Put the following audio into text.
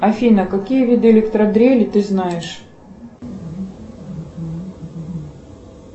афина какие виды электродрели ты знаешь